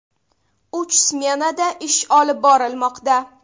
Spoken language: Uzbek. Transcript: Uch smenada ish olib borilmoqda.